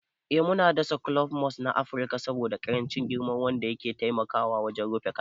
Ee muna dasa kulob Moss na Afirka saboda ƙarancin girma wanda yake taiamkwa wajen rufe ƙasa.